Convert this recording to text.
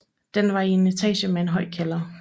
Den var i en etage med høj kælder